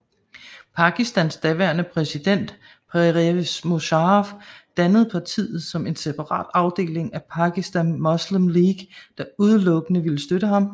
Pakistans daværende præsident Pervez Musharraf dannede partiet som en separat afdeling af Pakistan Muslim League der udelukkende ville støtte ham